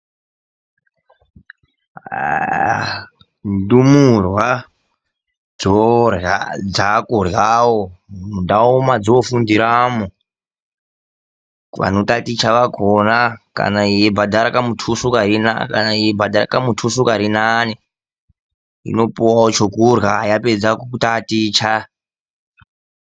Ndumurwa dzakuryawo mundawo mwadzinofundira kuvanotaticha kwakona kana yeibhadhara kamutuso karinane inopuwawo chokurya yapedza kutaticha.